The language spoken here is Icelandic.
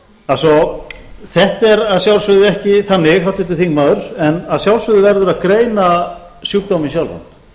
allt svo þetta er að sjálfsögðu ekki þannig háttvirtur þingmaður en að sjálfsögðu verður að greina sjúkdóminn sjálfan